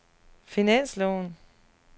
finansloven